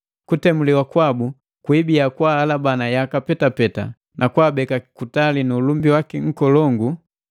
Kutemuliwa kwabu kwibia kwaalabana yaka petapeta na kwa abeka kutali nu ulumbi waki nkolongu,